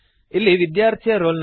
ಇಲ್ಲಿ ವಿದ್ಯಾರ್ಥಿಯ ರೋಲ್ ನಂ